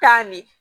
Tan ne